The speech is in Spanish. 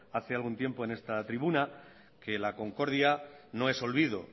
hace algún tiempo en esta tribuna que la concordia no es olvido